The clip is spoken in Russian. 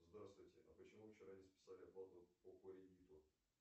здравствуйте а почему вы вчера не списали оплату по кредиту